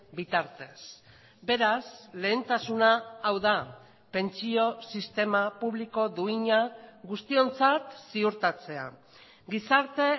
bitartez beraz lehentasuna hau da pentsio sistema publiko duina guztiontzat ziurtatzea gizarte